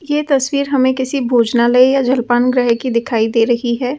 यह तस्वीर हमें किसी भोजनालय या जलपान ग्रह की दिखाई दे रही है ।